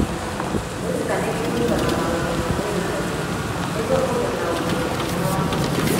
Wĩrutanĩrie gwĩkaga maũndũ ma mwĩrĩ kaingĩ nĩguo ũgĩe na ũgima mwega wa ngoro.